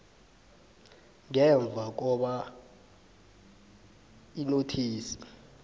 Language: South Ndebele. ngemva kobana inothisi